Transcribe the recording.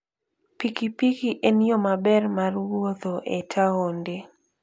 pikipiki en yo maber mar wuotho e taonde.